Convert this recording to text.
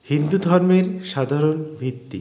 হিন্দু ধর্মের সাধারণ ভিত্তি